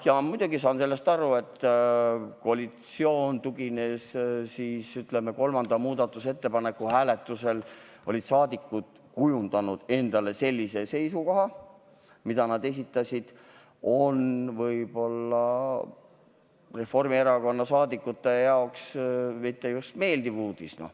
Ja muidugi saan ma aru sellest, et kolmanda muudatusettepaneku hääletuseks koalitsiooniliikmete kujundatud seisukoht, mida nad esitasid, ei olnud Reformierakonna liikmete jaoks just meeldiv uudis.